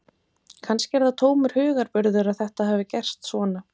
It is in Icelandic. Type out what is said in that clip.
Kannski er það tómur hugarburður að þetta hafi gerst svona.